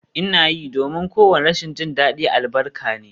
Ina yi, domin kowane rashin jin daɗi albarka ne